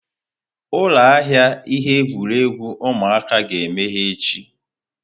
Ụlọ ahịa ihe egwuregwu ụmụaka ga-emeghe echi.